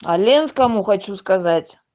оленинскому хочу сказать